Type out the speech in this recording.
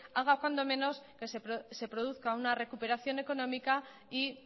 haga cuando menos que se produzca una recuperación económica y